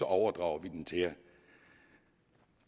overdrager vi den til jer